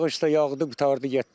Yağış da yağdı, qurtardı getdi.